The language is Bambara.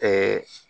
Ɛɛ